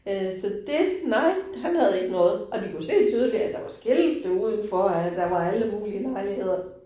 Øh så det nej, han havde ikke noget, og de kunne se tydeligt, at der var skilte udenfor at, der var alle mulige lejligheder